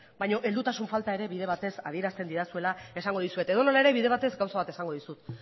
baina heldutasun falta ere bide batez adierazten didazuela esango dizuet edonola ere bide batez gauza bat esango dizut